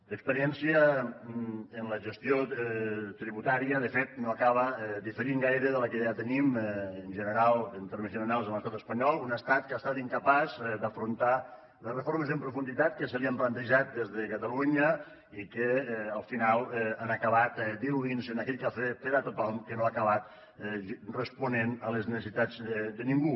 l’experiència en la gestió tributària de fet no acaba diferint gaire de la que ja tenim en general en termes generals a l’estat espanyol un estat que ha estat incapaç d’afrontar les reformes en profunditat que se li han plantejat des de catalunya i que al final han acabat diluint se en aquell cafè per a tothom que no ha acabat responent a les necessitats de ningú